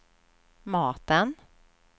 maten